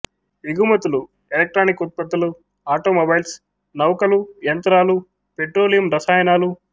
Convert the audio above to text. ఎగుమతులు ఎలెక్ట్రానిక్ ఉత్పత్తులు ఆటోమొబైల్స్ నౌకలు యంత్రాలు పెట్రోలియం రసాయనాలు